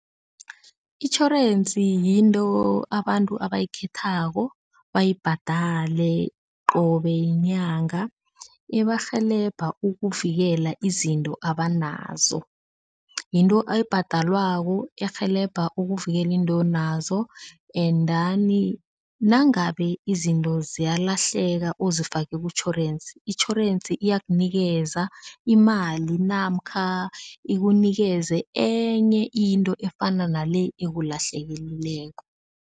Itjhorensi yinto abantu abayikhethako, bayibhadale qobe yinyanga, ibarhelebha ukuvikela izinto abanazo, yinto oyibhadalwako erhelebha ukuvikela into nazo endani nangabe izinto ze iyalahleka uzifake kutjhorensi, itjhorensi iya ukunikeza imali namkha ikunikeze enye into efana nale ekulahlekeleko.